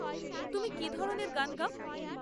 তুমি কি ধরনের গান গাও?